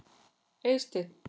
Eysteinn